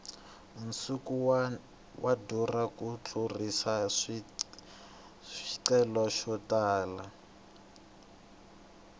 nsuku wu durha ku tlurisa swicelwa swo tala